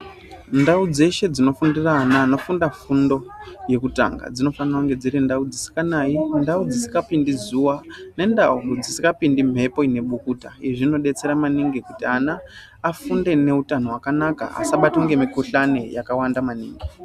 Ndawu dzeshe dzinofundira ana vanofunda fundo yekutanga, dzinofanire kunge dzirindawu dzisinganayi, ndawu dzisingapindi zuwa nendawu dzisingapindi mhepo inemukuta. Izvi zvinodetsera maningi kuti ana afunde ngehutano hwakanaka asabatwe ngemikhuhlane yakawanda maningi.